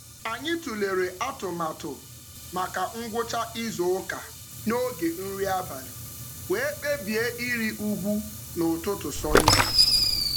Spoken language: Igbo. Anyị tụlere atụmatụ maka ngwụcha izuụka n'oge nri abalị wee kpebie ịrị ugwu n'ụtụtụ Sọnde.